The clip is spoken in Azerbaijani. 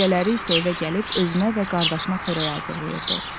Gecələri isə evə gəlib özünə və qardaşına xörək hazırlayırdı.